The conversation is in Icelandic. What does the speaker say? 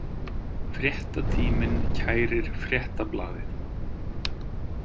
Fréttatíminn kærir Fréttablaðið